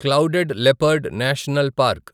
cloud leopard national park